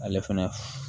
Ale fɛnɛ